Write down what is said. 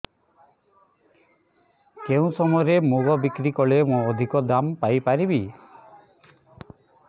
କେଉଁ ସମୟରେ ମୁଗ ବିକ୍ରି କଲେ ମୁଁ ଅଧିକ ଦାମ୍ ପାଇ ପାରିବି